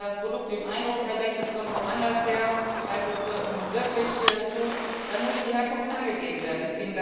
Das heißt, wenn das Produkt den Eindruck erweckt, es kommt woanders her, als es nun wirklich tut, dann muss die Herkunft angegeben werden.